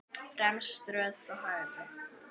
Í fremstu röð frá hægri